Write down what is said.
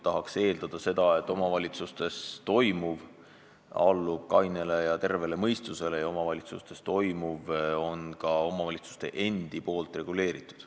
Tahaks eeldada, et omavalitsustes toimuv allub kainele ja tervele mõistusele ja et omavalitsustes toimuv on nende endi reguleeritud.